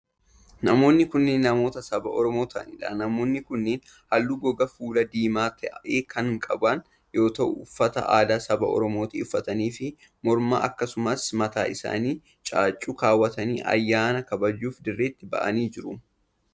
Namoonni kun, namoota saba Oromoo ta'anii dha. Namoonni kunneen halluu gogaa fuulaa diimaa ta'e kan qaban yoo ta'u, uffata aadaa saba Oromoo ta'e uffatanii fi morma aakasumas mataa isaanitti caaccuu kaawwatanii ayyaana kabajuuf dirreetti ba'anii jiru.